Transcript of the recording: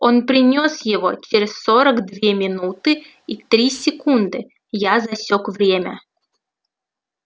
он принёс его через сорок две минуты и три секунды я засёк время